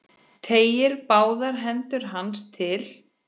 Teygir báðar hendur til hans.